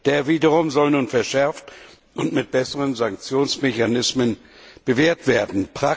Der wiederum soll nun verschärft und mit besseren Sanktionsmechanismen bewehrt werden.